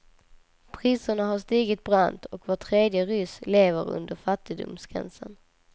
Priserna har stigit brant och var tredje ryss lever under fattigdomsgränsen.